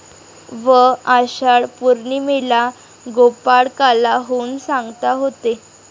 व आषाढ पौर्णिमेला गोपाळकाला होऊन सांगता होते.